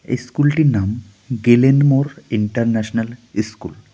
এই স্কুলটির নাম গেলেন মোড় ইন্টারন্যাশনাল স্কুল .